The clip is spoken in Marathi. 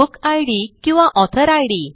बुक इद किंवा ऑथर इद